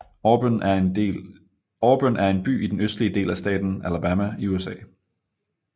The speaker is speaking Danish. Auburn er en by i den østlige del af staten Alabama i USA